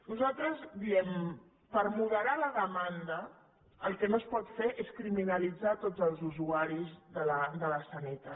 nosaltres diem per moderar la demanda el que no es pot fer és criminalitzar tots els usuaris de la sanitat